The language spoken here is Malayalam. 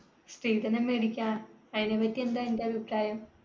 സ്ത്രീധനം മേടിക്കാ അയിനെ പറ്റി എന്താ നിന്റെ അഭിപ്രായം